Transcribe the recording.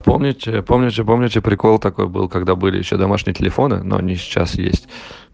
помните помните помните прикол такой был когда были ещё домашние телефоны но они и сейчас есть